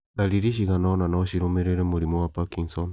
Ndariri cigana ona no cirũmĩrĩre mũrimũ wa Parkinson